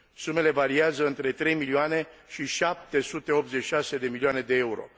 Sumele variază între 3 milioane și 786 de milioane de euro.